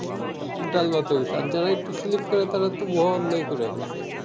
ডাল ভাত হয়ে গেছে আর যারা একটু সিলিপ করে তারাতো মহা অন্যায় করে ফেলসে